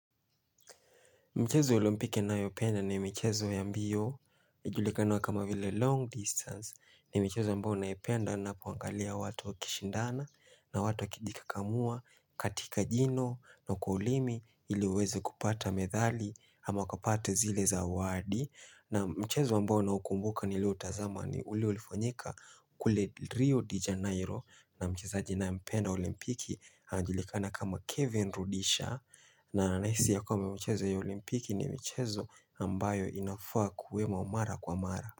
Michezo olimpiki nayopenda ni michezo ya mbio, julikana kama vile long distance, ni michezo ambayo naipenda napoangalia watu wa kishindana na watu wa kijikakamua, katika jino na kwa ulimi iliwaweze kupata medhali ama kupata zile zawadi. Naam mchezo ambao naukumbuka nilioutazama ni ule ulifanyika kule Rio de Janeiro na mchezaji ninaye mpenda olimpiki anajulikana kama Kevin Rudisha na nahisi ya kwamba michezo ya olimpiki ni michezo ambayo inafaa kuwemo mara kwa mara.